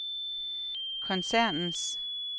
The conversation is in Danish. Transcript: koncernens